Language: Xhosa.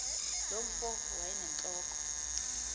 loo mfo wayenentloko